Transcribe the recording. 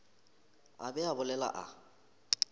a be a bolela a